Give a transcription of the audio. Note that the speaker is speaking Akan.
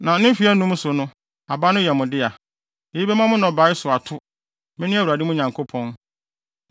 Na ne mfe anum so no, aba no yɛ mo dea. Eyi bɛma mo nnɔbae so ato. Mene Awurade mo Nyankopɔn.